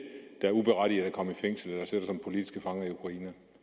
der uberettiget er kommet i fængsel